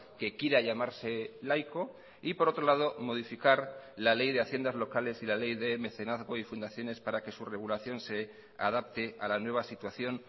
que quiera llamarse laico y por otro lado modificar la ley de haciendas locales y la ley de mecenazgo y fundaciones para que su regulación se adapte a la nueva situación